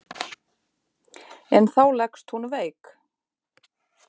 En þá leggst hún veik.